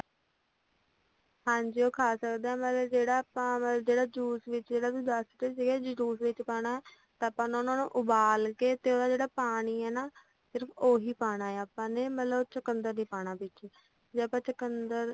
ਹਾਂਜੀ ਉਹ ਖਾ ਸਕਦੇ ਆ ਮਤਲੱਬ ਜਿਹੜਾ ਆਪਾਂ ਜਿਹੜਾ juice ਵਿੱਚ ਜਿਹੜਾ best ਸੀਗਾ juice ਵਿੱਚ ਪਾਣਾ ਤਾਂ ਆਪਾਂ ਉਹਨਾਂ ਨੂੰ ਉਬਾਲ਼ ਕੇ ਤੇ ਜਿਹੜਾ ਉਹਦਾ ਪਾਣੀ ਆ ਨਾ ਸਿਰਫ਼ ਉਹੀ ਪਾਣਾ ਆਪਾ ਮਤਲੱਬ ਚੁਕੰਦਰ ਨੀ ਪਾਣਾ ਵਿੱਚ ਜੇ ਆਪਾ ਚੁਕੰਦਰ